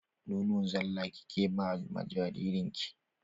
Nono zala kike ba ma jaririn ki?